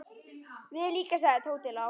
Við líka sagði Tóti lágt.